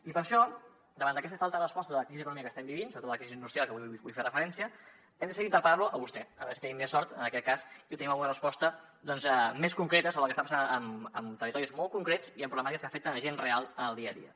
i per això davant d’aquesta falta de respostes a la crisi econòmica que estem vivint sobretot a la crisi industrial a què avui vull fer referència hem decidit interpel·lar lo a vostè a veure si tenim més sort en aquest cas i obtenim alguna resposta més concreta sobre el que està passant amb territoris molt concrets i amb problemàtiques que afecten gent real en el dia a dia